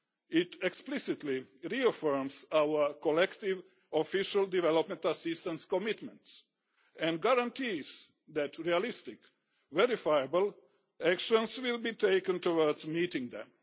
It explicitly reaffirms our collective Official Development Assistance commitments and guarantees that realistic and verifiable actions will be taken towards meeting them.